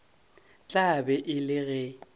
tla be e le ge